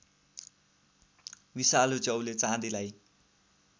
विषालु च्याउले चाँदीलाई